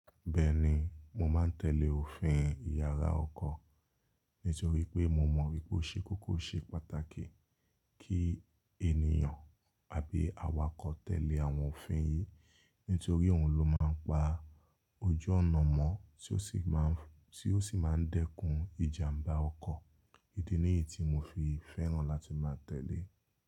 Bẹ́ẹ̀ni, mo máa ń tẹ̀lé òfin yàrá ọkọ̀ nítorí pé mo mọ wípé ó ṣe kókó ṣe pàtàkì kí ènìyàn àbí awakọ̀ tẹ̀lé àwọn òfin yìí. Nítorí òun ló máa ń pa ojú ọ̀nà mọ́ tí ó sì má ń dẹ́kun ìjàmbá ọkọ̀. Idi ni èyí tí mo fi fẹ́ràn láti máa tẹ̀lé.